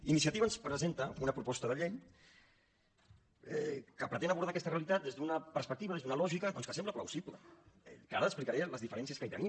iniciativa ens presenta una proposta de llei que pretén abordar aquesta realitat des d’una perspectiva des d’una lògica doncs que sembla plausible que ara explicaré les diferències que hi tenim